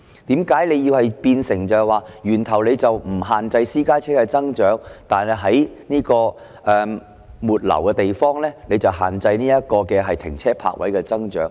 為何不在源頭限制私家車的增長，反而在末流的地方限制停車泊位的增長？